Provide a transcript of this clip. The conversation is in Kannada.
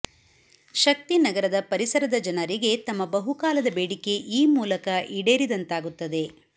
ಶಕ್ತಿನಗರದ ಪರಿಸರದ ಜನರಿಗೆ ತಮ್ಮ ಬಹುಕಾಲದ ಬೇಡಿಕೆ ಈ ಮೂಲಕ ಈಡೇರಿದಂತಾಗುತ್ತದೆ